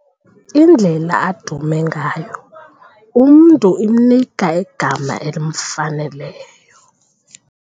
Indlela adume ngayo umntu imnika igama elimfaneleyo.